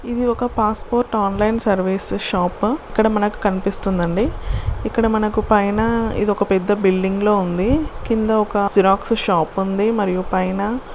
ఇది ఒక passport online service shop ఇక్కడ మనకు కనిపిస్తుందండి. ఇక్కడ మనకు పైనఇది ఒక పెద్ద బిల్డింగ్ లా ఉంది.. కింద ఒక జిరాక్స్ షాపు ఉంది. మరియు పైన--